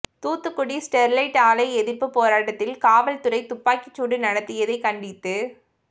Thoothukudi Sterlite ஆலை எதிர்ப்புப் போராட்டத்தில் காவல்துறை துப்பாக்கிச்சூடு நடத்தியதைக் கண்டித்து